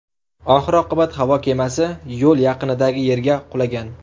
Oxir-oqibat havo kemasi yo‘l yaqinidagi yerga qulagan.